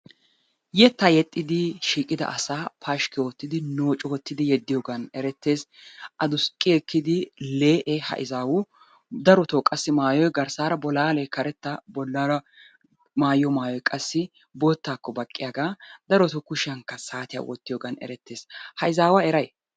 Yettaa yexxiiddi shiiqida asaa pashkki oottidi noocu oottidi yeddiyogan erettees. Aduqqi ekkidi lee'e ha izaawu darotoo qassi mayoy garssaara bolaale karetta bollaara maayiyo mayoy qassi boottaakko baqqiyaga. Daroto qassi kushiyankka saatiya wottiyogan erettes. Ha izaawa eray?